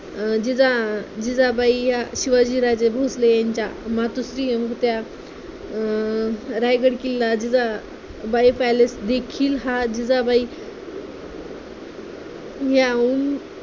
अं जिजा जिजाबाई या शिवाजी राजा भोसले यांच्या मातोश्री होत्या. अं रायगड किल्ला जिजा बाई palace देखील हा जिजाबाई यावून